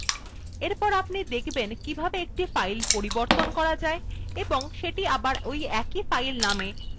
এরপর আপনি দেখবেন কিভাবে একটি file পরিবর্তন করা যায় এবং এটি আবার ওই একই file name সেভ করা যায়